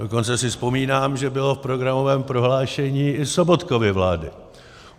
Dokonce si vzpomínám, že bylo v programovém prohlášení i Sobotkovy vlády.